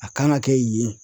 A kan ka kɛ yen.